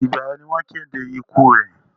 Ìgbà wo ni wọ́n kéde ikú rẹ?